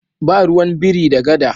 Ba ruwan biri da gada.